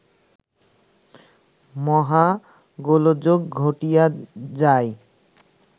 মহা গোলযোগ ঘটিয়া যায়